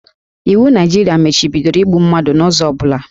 Iwu Naijiria machibidoro igbu mmadụ n'ụzọ ọ bụla